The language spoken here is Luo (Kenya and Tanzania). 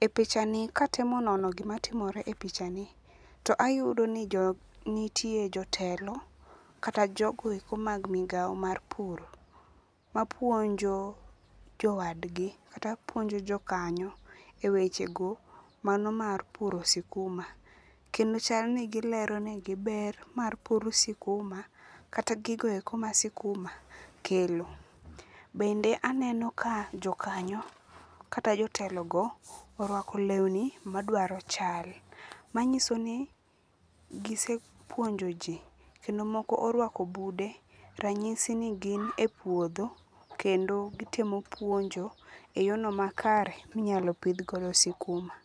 E pichani katemo nono gimatimore e pichani to ayudo ni jo nitie jotelo kata jogoeko mag migao mag pur mapuonjo jowadgi kata puonjo jo kanyo e wechego mano mar puro sikuma. Kendo chani gileronegi ber mar puro sikuma kata gigoeko ma sikuma kelo. Bende aneno ka jokanyo kata jotelogo orwako lewni madwaro chal. Manyiso ni gisepuonjo ji, kendo moko orwako bude, ranyisi ni gin e puodho. Kendo gitemo puonjo e yono makare minyalo pidhgodo sikuma.